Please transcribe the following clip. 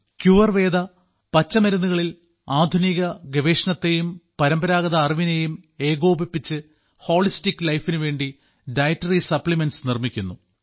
ക്യുവർവേദ പച്ചമരുന്നുകളിൽ ആധുനിക ഗവേഷണത്തെയും പരമ്പരാഗത അറിവിനെയും ഏകോപിപ്പിച്ച് ഹോളിസ്റ്റിക് ലൈഫിനു വേണ്ടി ഡയറ്ററി സപ്ലിമെന്റ്സ് നിർമ്മിക്കുന്നു